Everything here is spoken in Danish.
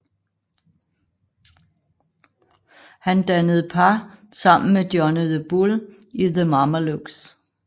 Han dannede par sammen med Johnny the Bull i The Mamalukes